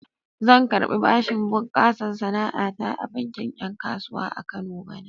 Zan karɓi bashin bunƙasa sana'a ta a bankin 'yan kasuwa a Kano bana.